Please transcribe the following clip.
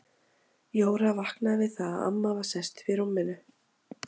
Jóra vaknaði við það að amma var sest upp í rúminu.